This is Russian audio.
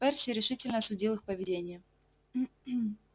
перси решительно осудил их поведение